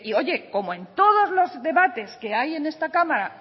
oye como en todos los debates que hay en esta cámara